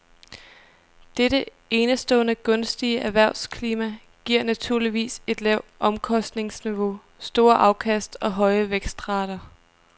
Dette enestående gunstige erhvervsklima giver naturligvis et lavt omkostningsniveau, store afkast og høje vækstrater.